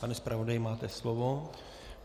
Pane zpravodaji, máte slovo.